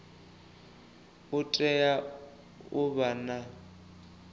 u tea u vha na